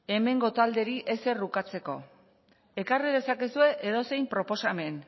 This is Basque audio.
hemengo taldeei ezer ukatzeko ekarri dezakezue edozein proposamen